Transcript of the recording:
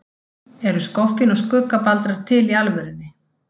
Eru skoffín og skuggabaldrar til í alvörunni?